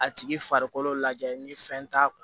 A tigi farikolo lajɛ ni fɛn t'a kun